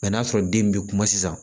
n'a sɔrɔ den bɛ kuma sisan